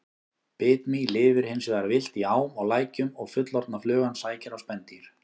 Bitmý lifir hins vegar villt í ám og lækjum og fullorðna flugan sækir á spendýr.